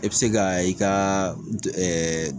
E bi se ka i ka ɛɛ